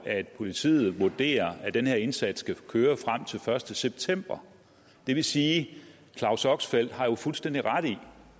at politiet vurderer at den her indsats skal køre frem til første september det vil sige at claus oxfeldt jo har fuldstændig ret i